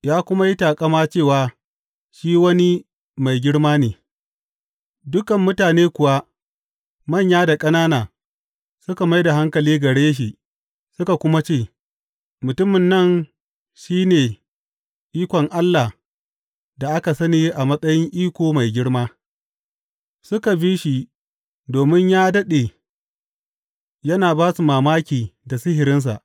Ya kuma yi taƙama cewa shi wani mai girma ne, dukan mutane kuwa, manyan da ƙanana, suka mai da hankali gare shi suka kuma ce, Mutumin nan shi ne ikon Allah da aka sani a matsayin Iko Mai Girma Suka bi shi domin ya daɗe yana ba su mamaki da sihirinsa.